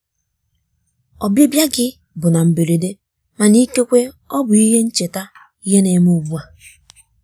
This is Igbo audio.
ọbịbịa gị bụ na mberede mana ikekwe ọ bụ ihe ncheta ihe ne me ugbua.